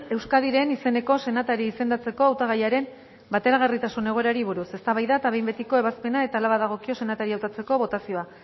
euskadiren izeneko senatari izendatzeko hautagaiaren bateragarritasun egoerari buruz eztabaida eta behin betiko ebazpena eta hala badagokio senataria hautatzeko botazioa